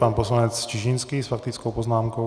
Pan poslanec Čižinský s faktickou poznámkou.